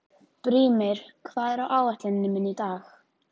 Brímir, hvað er á áætluninni minni í dag?